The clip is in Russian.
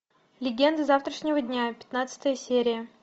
легенды завтрашнего дня пятнадцатая серия